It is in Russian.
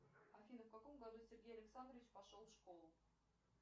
афина в каком году сергей александрович пошел в школу